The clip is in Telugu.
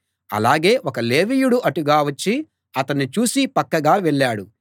ఆలాగే ఒక లేవీయుడు అటుగా వచ్చి అతణ్ణి చూసి పక్కగా వెళ్ళాడు